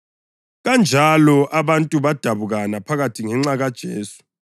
Kanjalo abantu badabukana phakathi ngenxa kaJesu.